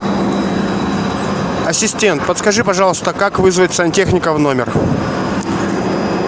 ассистент подскажи пожалуйста как вызвать сантехника в номер